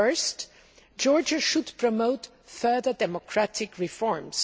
First, Georgia should promote further democratic reforms.